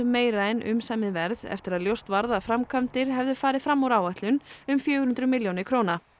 meira en umsamið verð eftir að ljóst varð að framkvæmdir hefðu farið fram úr áætlun um fjögur hundruð milljónir króna